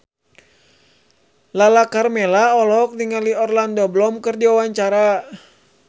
Lala Karmela olohok ningali Orlando Bloom keur diwawancara